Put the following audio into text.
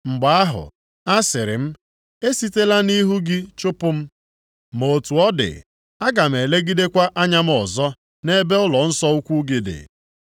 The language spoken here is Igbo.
Mgbe ahụ, asịrị m, ‘E sitela nʼihu gị chụpụ m; ma otu ọ dị, aga m elegidekwa anya m ọzọ nʼebe ụlọnsọ ukwu gị dị.’